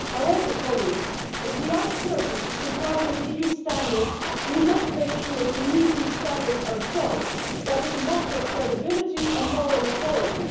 However, if we ask Turkey to comply with EU standards, we must make sure to meet these standards ourselves. That is a matter of credibility and moral authority.